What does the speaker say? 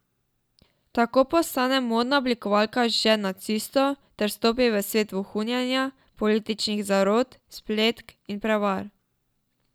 Tako postane modna oblikovalka žen nacistov ter vstopi v svet vohunjenja, političnih zarot, spletk in prevar.